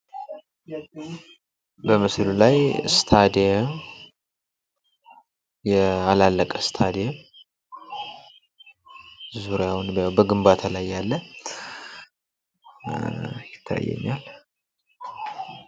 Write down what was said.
በምስሉ ላይ ስታዲየም ያላለቀ ስታድየም ዙሪያውን በግንባታ ላይ ያለ ይታየኛል።